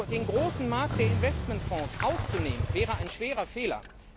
Den großen Markt der Investmentfonds auszunehmen, wäre ein schwerer Fehler.